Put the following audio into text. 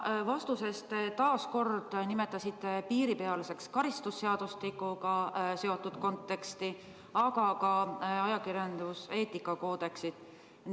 Oma vastuses te nimetasite juhtunut karistusseadustiku kontekstis piiripealseks, aga ka ajakirjanduseetika koodeksi kontekstis.